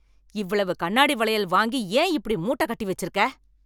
இவ்வளவு கண்ணாடி வளையல் வாங்கி ஏன் இப்படி மூட்டை கட்டி வச்சிருக்க